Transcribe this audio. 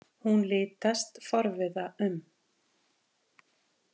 Hún litast forviða um.